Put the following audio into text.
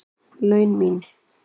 laun mín.